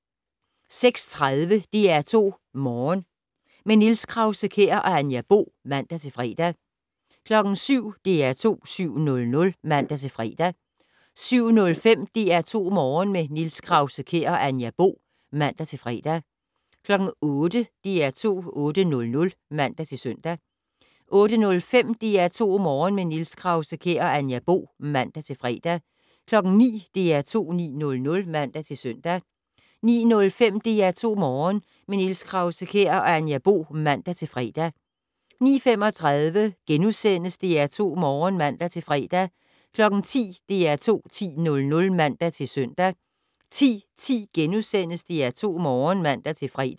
06:30: DR2 Morgen - med Niels Krause-Kjær og Anja Bo (man-fre) 07:00: DR2 7:00 (man-fre) 07:05: DR2 Morgen - med Niels Krause-Kjær og Anja Bo (man-fre) 08:00: DR2 8:00 (man-søn) 08:05: DR2 Morgen - med Niels Krause-Kjær og Anja Bo (man-fre) 09:00: DR2 9:00 (man-søn) 09:05: DR2 Morgen - med Niels Krause-Kjær og Anja Bo (man-fre) 09:35: DR2 Morgen *(man-fre) 10:00: DR2 10:00 (man-søn) 10:10: DR2 Morgen *(man-fre)